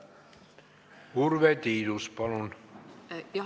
Urve Tiidus, palun!